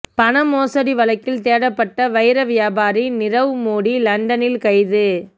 பண மோசடி வழக்கில் தேடப்பட்ட வைர வியாபாரி நிரவ் மோடி லண்டனில் கைது